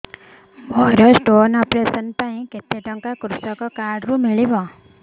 ମୋର stone operation ପାଇଁ କେତେ ଟଙ୍କା କୃଷକ କାର୍ଡ ରୁ ମିଳିବ